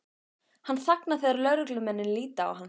Hann þagnar þegar lögreglumennirnir líta á hann.